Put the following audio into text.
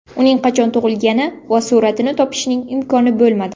Uning qachon tug‘ilgani va suratini topishning imkoni bo‘lmadi.